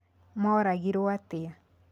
Mooragirũo atĩa?